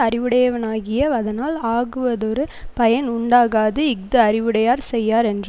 அறிவுடையனாகிய வதனால் ஆகுவதொரு பயன் உண்டாகாது இஃது அறிவுடையார் செய்யார் என்று